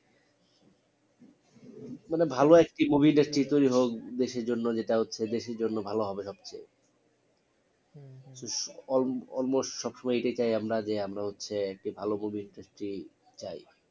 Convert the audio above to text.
মানে ভালো একটি movie industry তৈরী হোক দেশের জন্য যেটা হচ্ছে দেশের জন্য ভালো হবে almost সবসময় এটাই চাই আমরা যে আমরা হচ্ছে একটি ভালো movie industry চাই